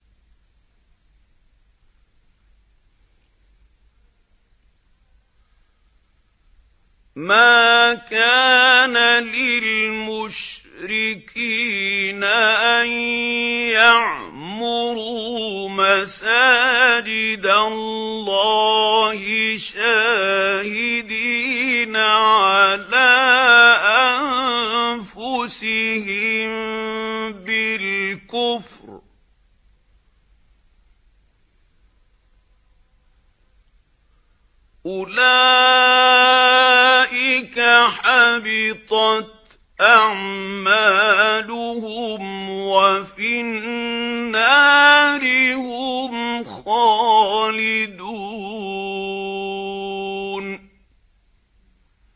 مَا كَانَ لِلْمُشْرِكِينَ أَن يَعْمُرُوا مَسَاجِدَ اللَّهِ شَاهِدِينَ عَلَىٰ أَنفُسِهِم بِالْكُفْرِ ۚ أُولَٰئِكَ حَبِطَتْ أَعْمَالُهُمْ وَفِي النَّارِ هُمْ خَالِدُونَ